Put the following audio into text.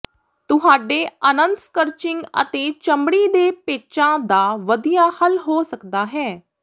ਤੁਹਾਡੇ ਅਨੰਤ ਸਕਰਚਿੰਗ ਅਤੇ ਚਮੜੀ ਦੇ ਪੈਚਾਂ ਦਾ ਵਧੀਆ ਹੱਲ ਹੋ ਸਕਦਾ ਹੈ